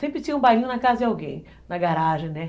Sempre tinha um bailinho na casa de alguém, na garagem, né?